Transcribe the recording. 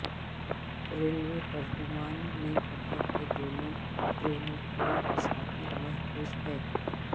railway ترجمان نے کہا کہ دونوں ٹرینوں کے مسافر محفوظ ہیں